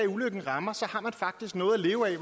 ulykken rammer har man faktisk noget at leve af